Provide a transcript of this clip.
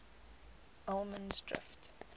allemansdrift